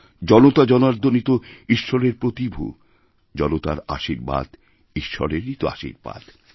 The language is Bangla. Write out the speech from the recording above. জনতা জনার্দনই তো ঈশ্বরেরপ্রতিভূ জনতার আশীর্বাদ ঈশ্বরেরই আশীর্বাদ